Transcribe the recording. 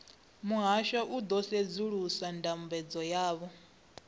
muhasho u ḓo sedzulusa ndambedzo yavho